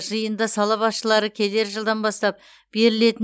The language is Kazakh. жиынды сала басшылары келер жылдан бастап берілетін